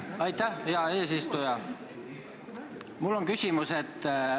Aitäh, hea eesistuja!